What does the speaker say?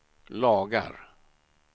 lagar